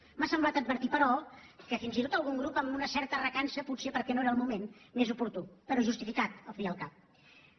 m’ha semblat advertir però que fins i tot algun grup amb una certa recança potser perquè no era el moment més oportú però justificat al cap i a la fi